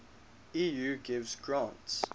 eu gives grants